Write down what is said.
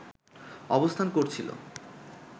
অবস্থান করছিল